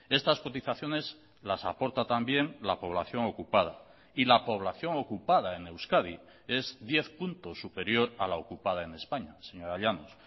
estas cotizaciones las aporta también la población ocupada y la población ocupada en euskadi es diez puntos superior a la ocupada en españa señora llanos